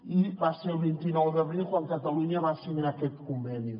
i va ser el vint nou d’abril quan catalunya va signar aquest conveni